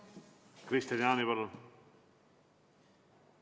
Kristian Jaani, palun!